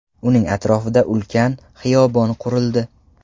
Uning atrofida ulkan xiyobon qurildi.